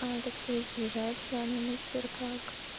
так сказать сближает в плане мы теперь как